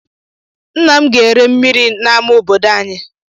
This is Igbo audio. Nna m ga-ere mmiri n'amá obodo anyị.